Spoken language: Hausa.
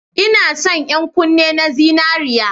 Ina son yan kunne na zinariya